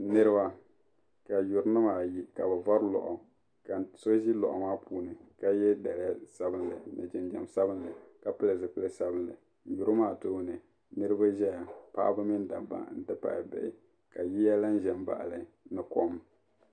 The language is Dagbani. Niriba ka yurinima ayi ka bɛ vari lɔɣu ka so ʒi loɣu maa puuni ka ye daliya sabinli jinjam sabinli ka pili zipiligu salo maa tooni niribi ʒeya paɣaba mini dabba n ti pahi bihi ka yiya lan ʒen baɣili ka kom.